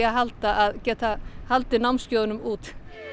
halda að geta haldið námskeiðunum úti